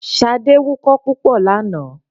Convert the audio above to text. Ṣadé wukọ́ púpọ̀ lánàá.